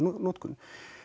notkunar